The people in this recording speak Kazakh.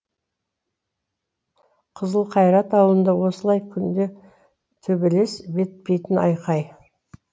қызылқайрат ауылында осылай күнде төбелес бітпейтін айқай